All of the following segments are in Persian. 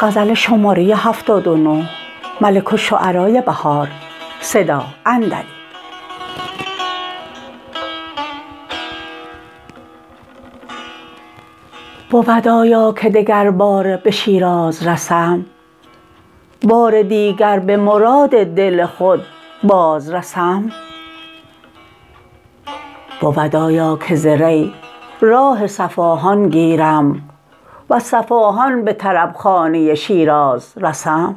بود آیا که دگرباره به شیراز رسم بار دیگر به مراد دل خود باز رسم بود آیا که ز ری راه صفاهان گیرم وز صفاهان به طربخانه شیراز رسم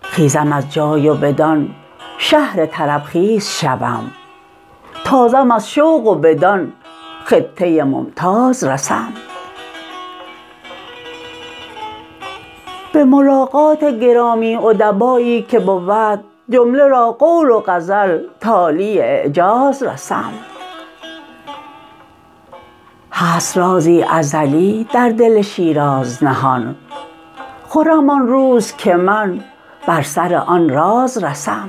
خیزم از جای و بدان شهر طربخیز شوم تازم از شوق و بدان خطه ممتاز رسم به ملاقات گرامی ادبایی که بود جمله را قول و غزل تالی اعجاز رسم هست رازی ازلی در دل شیراز نهان خرم آن روز که من بر سر آن راز رسم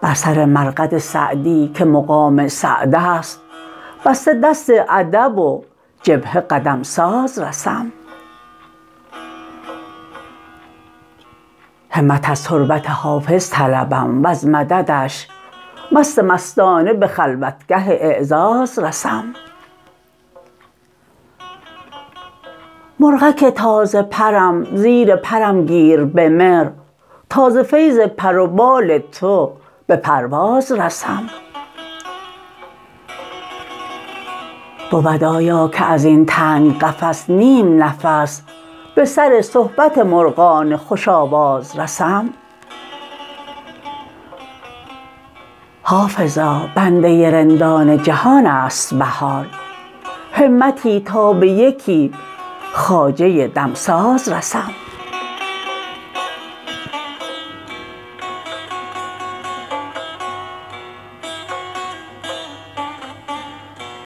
بر سر مرقد سعدی که مقام سعد است بسته دست ادب و جبهه قدم ساز رسم همت از تربت حافظ طلبم وز مددش مست مستانه به خلوتگه اعزاز رسم مرغک تازه پرم زیر پرم گیر به مهر تا ز فیض پر و بال تو به پرواز رسم بود آیاکه ازین تنگ قفس نیم نفس به سر صحبت مرغان خوش آواز رسم حافظا بنده رندان جهانست بهار همتی تا به یکی خواجه دمساز رسم